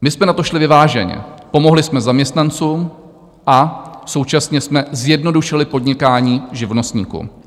My jsme na to šli vyváženě, pomohli jsme zaměstnancům a současně jsme zjednodušili podnikání živnostníkům.